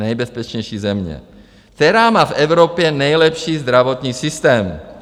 Nejbezpečnější země, která má v Evropě nejlepší zdravotní systém.